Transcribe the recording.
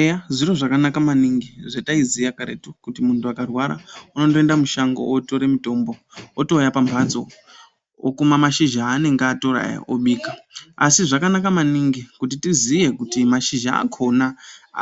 Eya zviro zvakanaka maningi zvataiziya karetu kuti muntu akarwara unondoenda mushango otore mutombo otouya pamhatso okuma mashizha aanenge atora aya obika, asi zvakanaka maningi kuti tiziye kuti mashizha akona